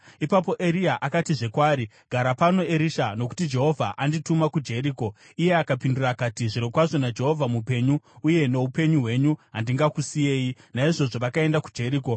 Ipapo Eria akatizve kwaari, “Gara pano, Erisha; nokuti Jehovha andituma kuJeriko.” Iye akapindura akati, “Zvirokwazvo naJehovha mupenyu, uye noupenyu hwenyu, handingakusiyei.” Naizvozvo vakaenda kuJeriko.